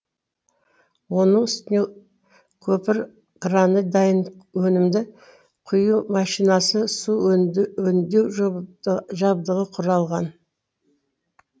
оның үстіне көпір краны дайын өнімді құю машинасы су өңдеу жабдығы құралған